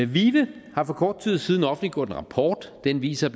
vive har for kort tid siden offentliggjort en rapport den viser